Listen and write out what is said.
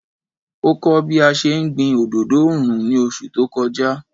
Ó kọ́ bí a ṣe ń gbin òdodo oòrùn ní oṣù tó kọjá.